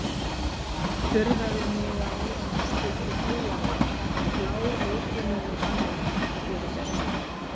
Furðaði mig á að hún skyldi trúa mér, bláókunnugum manninum, fyrir þessu.